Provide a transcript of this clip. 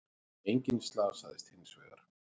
Enginn slasaðist hins vegar